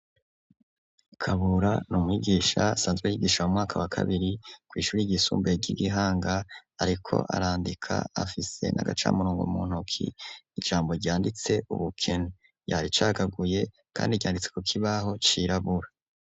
Kabura n’umwigisha asanzwe y’igisha mu mwaka wa kabiri kw’ishuri ryisumbuye ry’igihanga ariko arandika afise n’agaca murongo mu ntoki ,ijambo ryanditse ubukene yaricagaguye kandi ryanditse ku kibaho c’irabura.